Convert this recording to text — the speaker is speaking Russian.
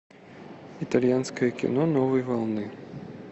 итальянское кино новой волны